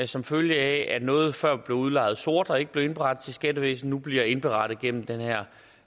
som følge af at noget der før blev udlejet sort og ikke blev indberettet til skattevæsenet nu bliver indberettet gennem den her